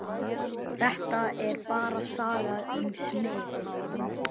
Þetta er bara saga um smið.